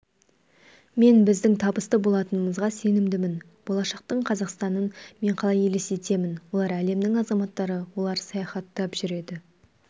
мен біздің табысты болатынымызға сенімдімін болашақтың қазақстанын мен қалай елестетемін олар әлемнің азаматтары олар саяхаттап жүреді